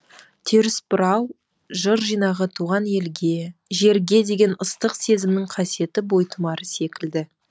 терісбұрау жыр жинағы туған елге жерге деген ыстық сезімнің қасиетті бойтұмары секілді